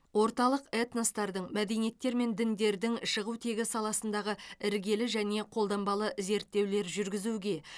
орталық этностардың мәдениеттер мен діндердің шығу тегі саласындағы іргелі және қолданбалы зерттеулер жүргізуге